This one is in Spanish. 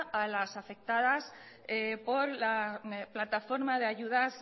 a las afectadas por la plataforma de ayudas